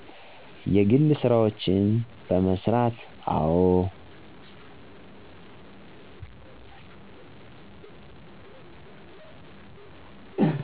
የግል ስራዎችን በመስራት። አዎ